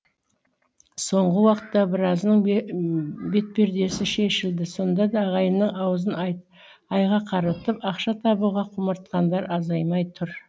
соңғы уақытта біразының бетпердесі шешілді сонда да ағайынның аузын айға қаратып ақша табуға құмартқандар азаймай тұр